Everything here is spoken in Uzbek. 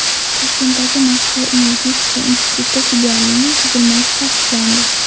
Toshkentdagi Moskva energetika instituti filialining tuzilmasi tasdiqlandi.